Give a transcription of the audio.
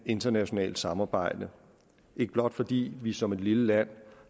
internationalt samarbejde ikke blot fordi vi som et lille land